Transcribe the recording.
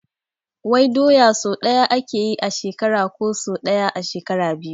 Wai doya sau ɗaya ake yi a shekara ko sau ɗaya a shekara biyu?